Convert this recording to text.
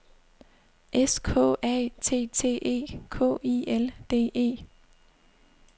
S K A T T E K I L D E